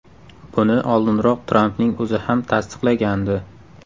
Buni oldinroq Trampning o‘zi ham tasdiqlagandi.